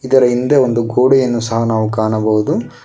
ಇದರ ಹಿಂದೆ ಒಂದು ಗೋಡೆಯನ್ನು ಸಹ ನಾವು ಕಾಣಬೌದು.